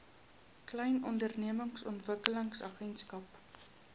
klein ondernemings ontwikkelingsagentskap